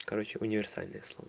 короче универсальный слон